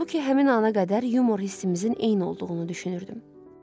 Halbuki həmin ana qədər yumor hissimizin eyni olduğunu düşünürdüm.